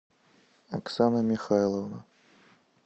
оксана михайловна